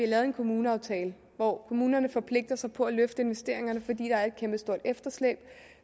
lavet en kommuneaftale hvor kommunerne forpligter sig på at løfte investeringerne fordi der er et kæmpestort efterslæb